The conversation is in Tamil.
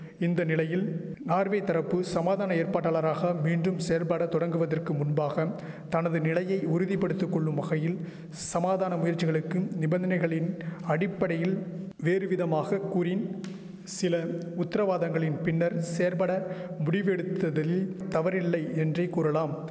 இந்த நிலையில் நார்வே தரப்பு சமாதான ஏற்பாட்டாளராக மீண்டும் செயற்படா தொடங்குவதற்கு முன்பாக தனது நிலையை உறுதிபடுத்திகொள்ளும் வகையில் சமாதான முயற்சிகளுக்கும் நிபந்தனைகளின் அடிப்படையில் வேறுவிதமாக கூறின் சில உத்தரவாதங்களின் பின்னர் செயற்பட முடிவெடுத்ததில் தவறில்லை என்றே கூறலாம்